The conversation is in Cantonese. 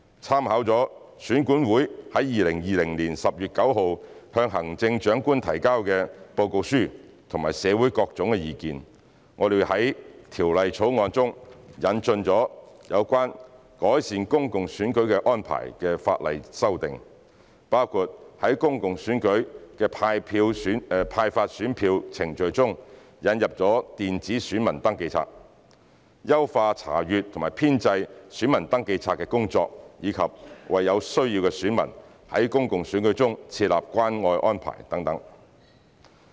參考了選管會在2020年10月9日向行政長官提交的報告書和社會的各種意見，在《條例草案》中引進有關改善公共選舉安排的法例修訂，包括在公共選舉的派發選票程序中引入電子選民登記冊、優化查閱和編製選民登記冊的工作及為有需要的選民在公共選舉中設立關愛安排等。